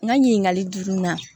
N ka ɲininkali jurunin na